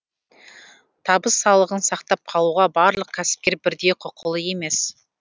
табыс салығын сақтап қалуға барлық кәсіпкер бірдей құқылы емес